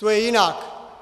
To je jinak.